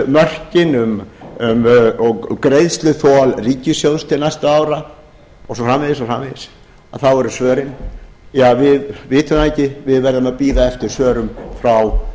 mörkin og greiðsluþol ríkissjóðs til næstu ára og svo framvegis og svo framvegis þá eru svörin ja við vitum það ekki við verðum a bíða eftir svörum frá